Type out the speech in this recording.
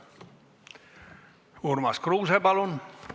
Urmas Kruuse, palun!